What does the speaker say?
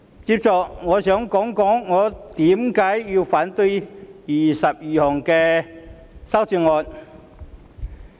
接着，我想談談我為何反對21項修正案。